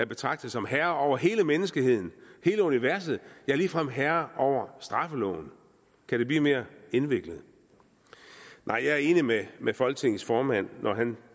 betragte som herre over hele menneskeheden hele universet ja ligefrem herre over straffeloven kan det blive mere indviklet nej jeg er enig med med folketingets formand når han